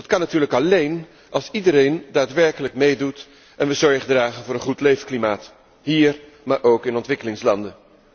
Dat kan natuurlijk alleen als iedereen daadwerkelijk meedoet en we zorg dragen voor een goed leefklimaat, hier maar ook in ontwikkelingslanden.